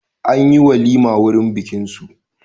An yi walima wurin bikinsu.